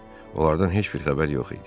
Onlardan heç bir xəbər yox idi.